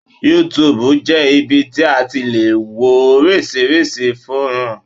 YouTube jẹ́ ibi tí a ti le wo oríṣiríṣi fọ́nrán.